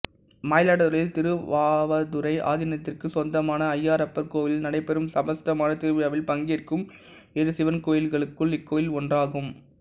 மயிலாடுதுறையில் திருவாவடுதுறை ஆதீனத்திற்குச் சொந்தமான ஐயாறப்பர் கோவிலில் நடைபெறும் சப்தஸ்தான திருவிழாவில் பங்கேற்கும் ஏழு சிவன் கோயில்களுள் இக்கோயிலும் ஒன்றாகும்